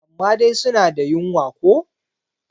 amma dai suna da wunya ko?